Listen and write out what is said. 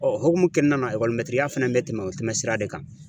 Ɔn hukumu kɔnɔna na ya fɛnɛ be tɛmɛ o tɛmɛ sira de kan.